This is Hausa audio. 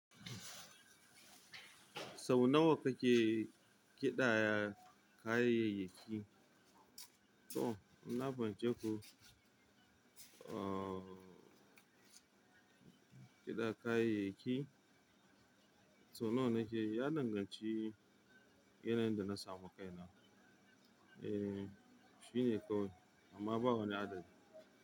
Sau nawa kake kiɗaya kayayyaki? To, inna fahimce ku kiɗaya kayayyaki sau nawa nake yi? Ya danganci yanayin dana samu kai na e, shi ne kawai amma babu wani adadi.